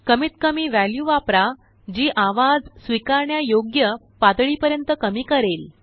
कमीतकमी वॅल्यू वापरा जी आवाज स्वीकारण्या योग्य पातळीपर्यंत कमी करेल